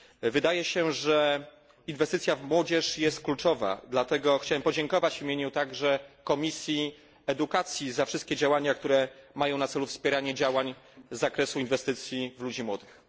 Wydaje się, że inwestycja w młodzież jest kluczowa, dlatego chciałem podziękować w imieniu także Komisji Edukacji za wszystkie działania, które mają na celu wspieranie działań z zakresu inwestycji w ludzi młodych.